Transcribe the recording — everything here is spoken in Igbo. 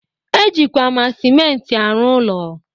E jikwa ma sịmenti arụ ụlọ